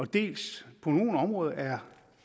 dels på nogle områder er